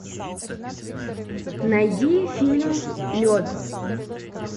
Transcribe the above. найди фильм лед